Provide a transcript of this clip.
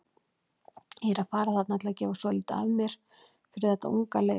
Ég er að fara þarna til að gefa svolítið af mér fyrir þetta unga lið.